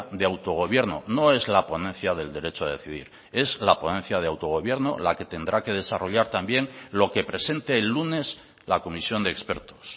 de autogobierno no es la ponencia del derecho a decidir es la ponencia de autogobierno la que tendrá que desarrollar también lo que presente el lunes la comisión de expertos